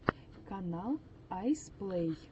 канал айс плэй